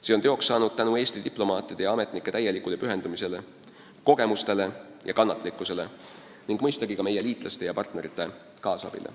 See on teoks saanud tänu Eesti diplomaatide ja ametnike täielikule pühendumisele, kogemustele ja kannatlikkusele ning mõistagi ka meie liitlaste ja partnerite kaasabile.